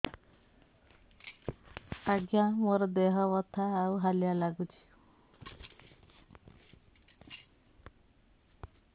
ଆଜ୍ଞା ମୋର ଦେହ ବଥା ଆଉ ହାଲିଆ ଲାଗୁଚି